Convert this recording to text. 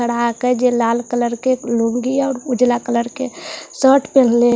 चढ़ा के जे लाल कलर के एक लूंगी है और उजाला कलर के सर्ट पेहेनले --